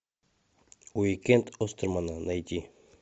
уикенд остермана найди